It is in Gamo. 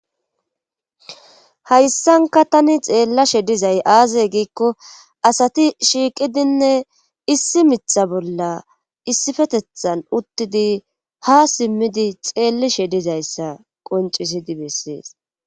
Hayssanka tani xeellashshe dizay aaze giikko asati shiiqidinne issi miiththa bolla issifetethan uttidi ha simmidi xeellishshe dizayssa qoncisidi bessees